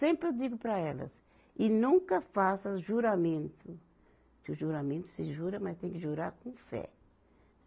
Sempre eu digo para elas, e nunca faça juramento, que o juramento se jura, mas tem que jurar com fé.